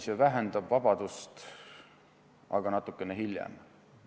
Ei, see vähendab vabadust, aga mõne aja pärast.